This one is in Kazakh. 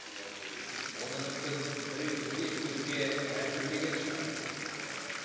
оны мүмкін біреу бізге жүгінуге мәжбүрлеген шығар степень да